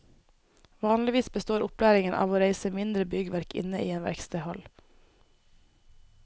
Vanligvis består opplæringen av å reise mindre byggverk inne i en verkstedhall.